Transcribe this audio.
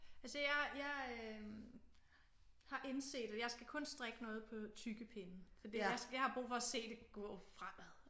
Altså jeg øh har indset at jeg skal kun strikke noget på tykke pinde fordi jeg har brug for at se det gå fremad